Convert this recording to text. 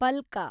ಪಲ್ಕ